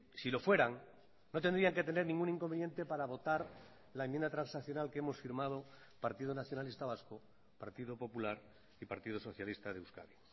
si lo fueran no tendrían que tener ningún inconveniente para votar la enmienda transaccional que hemos firmado partido nacionalista vasco partido popular y partido socialista de euskadi